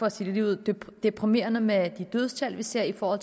at sige det ligeud deprimerende med de dødstal vi ser for